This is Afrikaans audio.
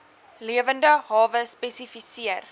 lewende hawe spesifiseer